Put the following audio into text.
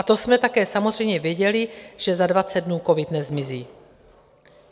A to jsme také samozřejmě věděli, že za 20 dnů covid nezmizí.